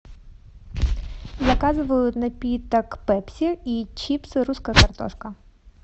заказываю напиток пепси и чипсы русская картошка